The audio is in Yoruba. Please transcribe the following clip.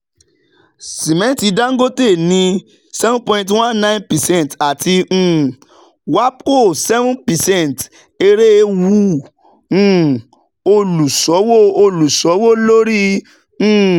Sìmẹ́ntì Dangote ní seven point one nine percent àti um WAPCO seven percent èrè wú um olùsòwò olùsòwò lórí. um